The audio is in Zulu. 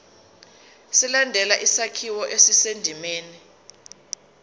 ilandele isakhiwo esisendimeni